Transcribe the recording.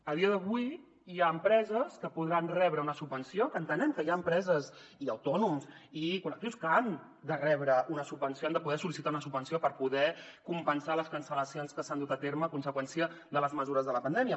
a dia d’avui hi ha empreses que podran rebre una subvenció que entenem que hi ha empreses i autònoms i col·lectius que han de rebre una subvenció han de poder sol·licitar una subvenció per poder compensar les cancel·lacions que s’han dut a terme a conseqüència de les mesures de la pandèmia